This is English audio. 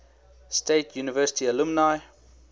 state university alumni